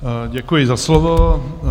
Děkuji za slovo.